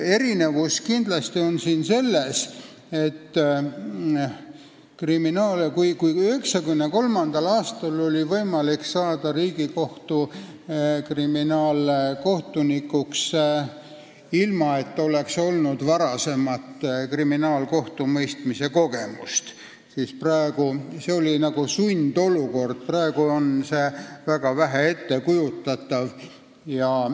Erinevus on selles, et kui 1993. aastal oli võimalik saada Riigikohtu kriminaalkohtunikuks, ilma et oleks olnud varasemat kriminaalkohtumõistmise kogemust, oli nagu sundolukord, siis praegu on sellist asja väga raske ette kujutada.